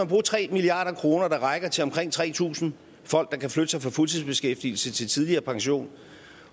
bruge tre milliard kr der rækker til omkring tre tusind folk der kan flytte sig fra fuldtidsbeskæftigelse til tidligere pension